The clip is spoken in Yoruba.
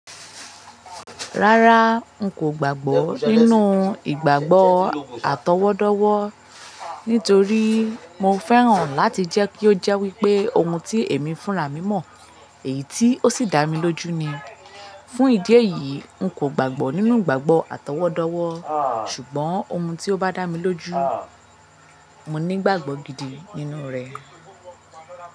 Rárá, n kò gbàgbọ́ nínú ìgbàgbọ́ àtọwọ́dọ́wọ́ nítorí mo fẹ́ràn láti jẹ́ kí ó jẹ́ wípé ohun tí èmi fúnra mí mọ̀ èyí tí ó sì dá mi lójú ni. Fún ìdí èyí, n kò gbàgbọ́ nínú ìgbàgbọ́ àtọwọ́dọ́wọ́ ṣùgbọ́n ohun tí ó bá dá mi lójú, mo nígbàgbọ́ gidi nínú rẹ̀